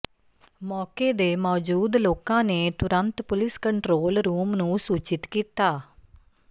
ਮੌਕੇ ਦੇ ਮੌਜੂਦ ਲੋਕਾਂ ਨੇ ਤੁਰੰਤ ਪੁਲਿਸ ਕੰਟਰੋਲ ਰੂਮ ਨੂੰ ਸੂਚਿਤ ਕੀਤਾ